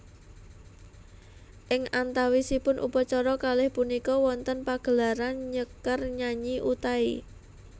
Ing antawisipun upacara kalih punika wonten pagelaran nyekar nyanyi Utai